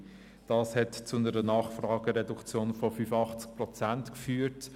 Diese letztgenannte Massnahme hat zu einer Nachfragereduktion von 85 Prozent geführt.